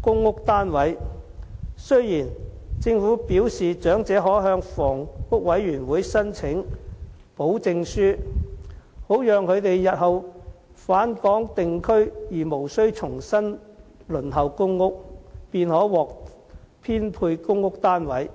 公共租住房屋單位，雖然政府表示長者可向香港房屋委員會申請保證書，好讓他們日後回港定居而無須重新輪候公屋，便可獲編配公屋單位。